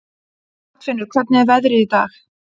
Arnfinnur, hvernig er veðrið í dag?